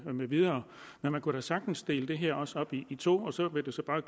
med videre men man kunne da sagtens også dele det her op i to så vil det så bare